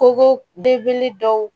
Koko degeli dɔw